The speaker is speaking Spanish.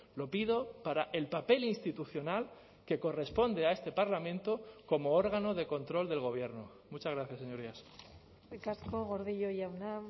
lo pido para el papel institucional que corresponde a este parlamento como órgano de control del gobierno muchas gracias señorías eskerrik asko gordillo jauna